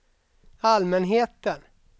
allmänheten